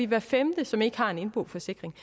hver femte som ikke har en indboforsikring